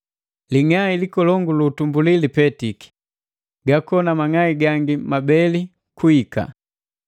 Ling'ai likolongu lu utumbuli lipetiki, gakona mang'ai gangi mabeli kuhika.